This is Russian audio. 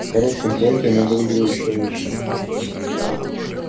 в коротком платье она выглядела ещё лучше